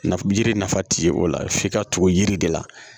Nafa yiri nafa ti ye o la f'i ka tugu yiri de la